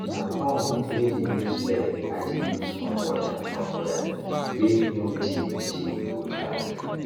na pump wey dey use legi dey use pump water from well wey no deep deep go tank